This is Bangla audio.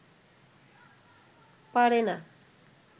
পারে না